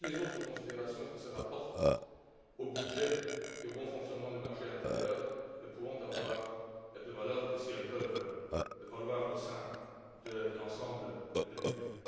Toutes les autres considérations qui se rapportent au budget et au bon fonctionnement du marché intérieur ne pourront avoir de valeur que si elles peuvent valoir au sein de l'ensemble de l'Union.